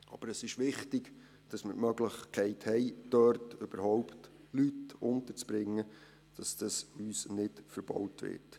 Aber es ist wichtig, dass wir die Möglichkeit haben, dort überhaupt Leute unterzubringen, und dass uns dies nicht verbaut wird.